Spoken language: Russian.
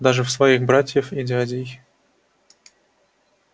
даже в своих братьев и дядей